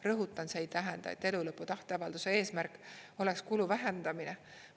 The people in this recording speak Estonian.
Rõhutan, see ei tähenda, et elulõpu tahteavalduse eesmärk oleks kulu vähendamine.